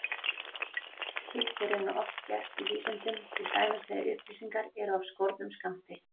Slíkt er raunar oft gert í vísindum, til dæmis þegar upplýsingar eru af skornum skammti.